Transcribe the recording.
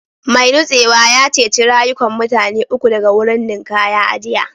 Mai nutsewa ya ceci rayukan mutane uku daga wurin ninkaya a jiya